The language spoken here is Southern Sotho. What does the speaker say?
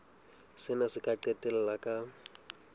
sena se ka qetella ka